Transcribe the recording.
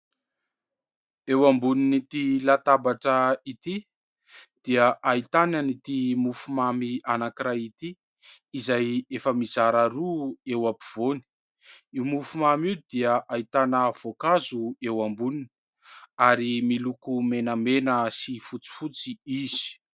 Eo ambonin'ity latabatra ity dia ahitana an'ity mofomamy anankiray ity izay efa mizara roa eo ampovoany, io mofomamy io dia ahitana voankazo eo amboniny ary miloko menamena sy fotsifotsy izy.